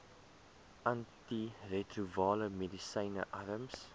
antiretrovirale medisyne arms